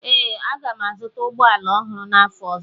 Ee, aga m azụta ụgbọ ala ọhụrụ n'afọ ọzọ